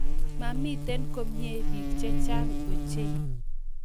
Mamiten komie pik che chang ochei